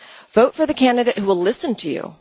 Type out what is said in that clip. Vote for the candidate who will listen to you.